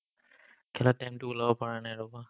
খেলাৰ time টো ওলাব পৰা নাই ৰ'বা ।